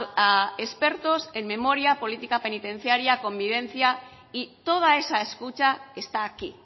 a expertos en memoria política penitenciaria convivencia y toda esa escucha está aquí